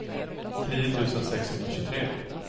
tio tusen sexhundratjugotre